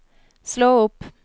slå opp